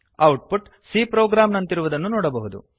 out ಪುಟ್ c program ನಂತಿರುವುದನ್ನು ನೋಡಬಹುದು